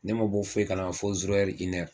Ne ma bɔ foyi kalama fɔ